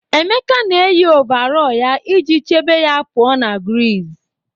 Emeka na-eyi ọvarọọr ya iji chebe ya pụọ ​​na griiz.